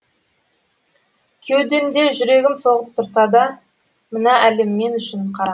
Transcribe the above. кеудемде жүрегім соғып тұрса да мына әлем мен үшін қара